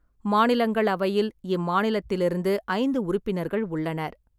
மாநிலங்களவையில் இம்மாநிலத்திலிருந்து ஐந்து உறுப்பினர்கள் உள்ளனர்.